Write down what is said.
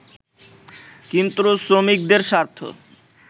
কিন্তু শ্রমিকদের স্বার্থ